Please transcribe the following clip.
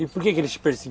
E por que eles te perse